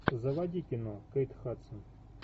заводи кино кейт хадсон